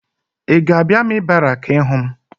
Ị ga-abịa amị barakị ịhụ m?